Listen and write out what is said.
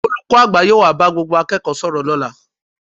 Olùkọ́ àgbà yóò wá bá gbogbo akẹ́kọ̀ọ́ sọ̀rọ̀ lọ́la